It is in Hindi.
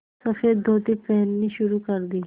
सफ़ेद धोती पहननी शुरू कर दी